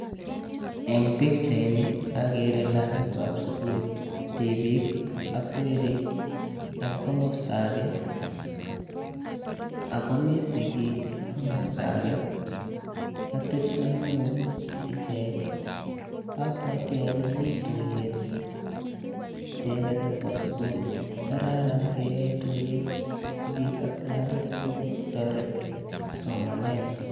ON this photo I see school children and parents on the other side. I think there is a meeting. It is important to hold such meeting to help school chilren academicaly.